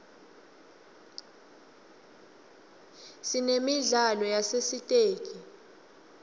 sinemidlalo yasesitesi